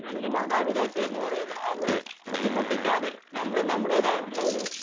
അല്ലെങ്കിൽ മാതാപിതാക്കളെ ബുദ്ധിമുട്ടിക്കാതെ നമ്മൾ നമ്മയുടേതായിട്ടുള്ള ഒരു